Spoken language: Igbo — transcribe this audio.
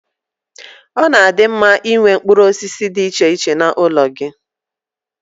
Ọ na-adi mma Ị nwee mkpụrụ osisi dị iche iche n'ụlọ gị.